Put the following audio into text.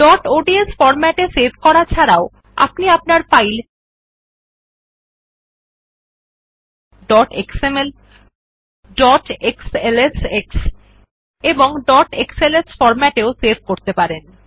dot ODS format এ save করা ছাড়াও আপনি আপনার file dot XML dot XLSX এবং ডট এক্সএলএস ফরম্যাটে সেভ করতে পারবেন